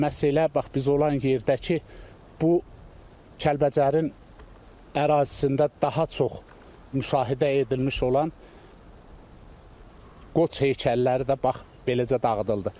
Məhz elə bax biz olan yerdəki bu Kəlbəcərin ərazisində daha çox müşahidə edilmiş olan Qoç heykəlləri də bax beləcə dağıdıldı.